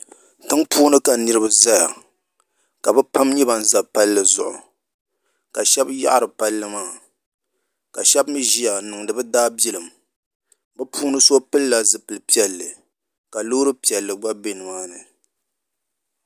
Tiŋpuuni ka niraba ʒɛya ka bi pam nyɛ ban ʒɛ palli zuɣu ka shaba yaɣari palli maa ka shaba mii ʒiya n niŋdi bi daabilim bi puuni so pilla zipili piɛlli ka loori piɛlli gba bɛ nimaani